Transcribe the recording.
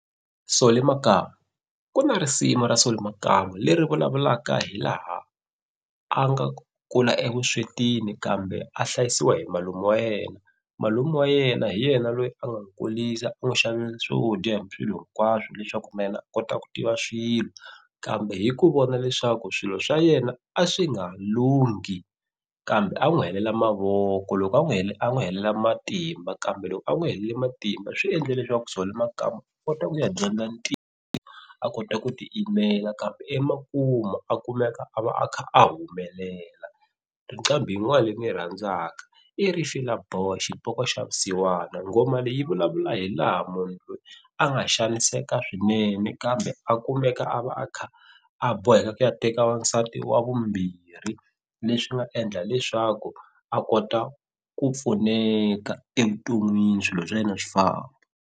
So le makaya ku na risimu ra Solly Makambu leri vulavulaka hi laha a nga kula evuswetini kambe a hlayisiwa hi malume wa yena malume wa yena hi yena loyi a nga kulisa u n'wu xavela swo dya hi swilo hinkwaswo leswaku na yena a kota ku tiva swilo kambe hi ku vona leswaku swilo swa yena a swi nga lunghi kambe a n'wi helela mavoko loko a n'wi a n'wi helela matimba kambe loko a n'wi helele matimba swi endle leswaku Solly Makamu kota ku ya dyondza a kota ku ti yimela kambe emakumu a kumeka a va a kha a humelela nqambi yin'wana leyi ni yi rhandzaka i Rifila Boy xipoko xa vusiwana nghoma leyi vulavula hi laha munhu loyi a nga xaniseka swinene kambe a kumeka a va a kha a boheka ku ya teka wansati wa vumbirhi leswi nga endla leswaku a kota ku pfuneka evuton'wini swilo swa yena swi famba.